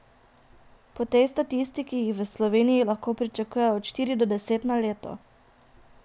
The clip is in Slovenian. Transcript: Po tej statistiki jih v Sloveniji lahko pričakujejo od štiri do deset na leto.